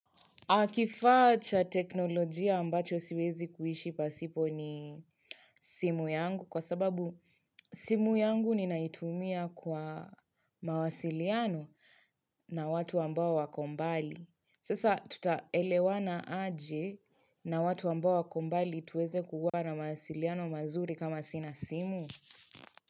Kifaa cha teknolojia ambacho siwezi kuishi pasipo ni simu yangu kwa sababu simu yangu ninaitumia kwa mawasiliano na watu ambao wako mbali. Sasa tutaelewana aje na watu ambao wako mbali tuweze kukuwa na mawasiliano mazuri kama sina simu.